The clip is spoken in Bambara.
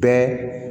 Bɛɛ